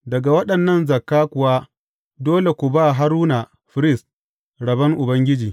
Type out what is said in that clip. Daga waɗannan zakka kuwa dole ku ba Haruna firist rabon Ubangiji.